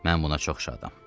Mən buna çox şadam.